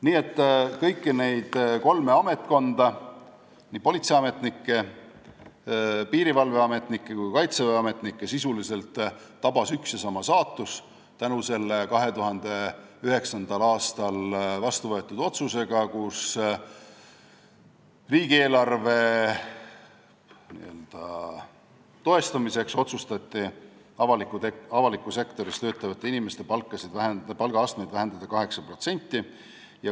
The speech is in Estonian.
Nii et kõiki neid kolme ametkonda – politseiametnikke, piirivalveametnikke ja kaitseväeametnikke – tabas sisuliselt üks ja sama saatus selle 2009. aastal vastu võetud otsusega, kui otsustati riigieelarve n-ö toestamiseks avalikus sektoris töötavate inimeste palgaastmeid 8% vähendada.